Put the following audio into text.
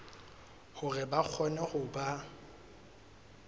hore ba kgone ho ba